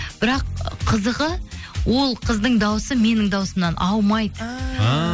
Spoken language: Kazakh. бірақ қызығы ол қыздың дауысы менің дауысымнан ауымайды ааа